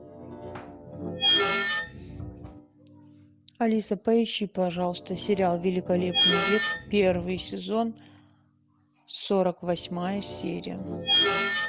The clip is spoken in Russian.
алиса поищи пожалуйста сериал великолепный век первый сезон сорок восьмая серия